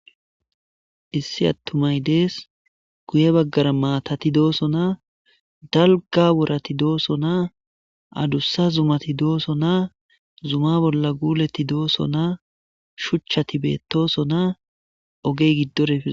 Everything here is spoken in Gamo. issi attumay dees guye baggara maatati doosonaa dalga worati doosonaa adussa zumati doosonaa zuma bolla guuleti doosonaa shuchchati beettoosonaa ogey giddora efed